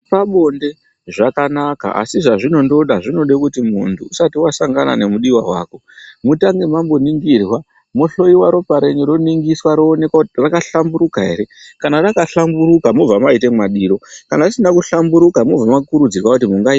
Zvepabonde zvakanaka asi zvinoda kuti munhu usati wasangana nemudiwa wako mutange mamboningirwa mohloiwa ropa renyu kuti raka hlamburuka ere kana rakahlamburuka mwobva mwaite madiro kana risina kuhlamburuka mwobva mwakurudzirwa kuti mungaita..